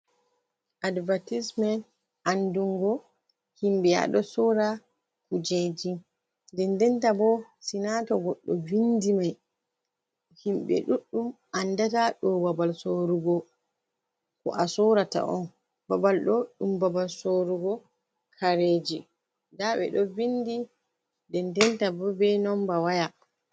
Aɗbatismen anɗungo himbe aɗo sora kujeji, ɗenɗenta bo sinata goɗɗo vinɗi mai, himbe ɗuɗɗum anɗata ɗo babal sorugo, ko a sorata on. Babal ɗo ɗum babal sorugo kareji, ɗa be ɗo vinɗi, denɗenta bo be nomba waya.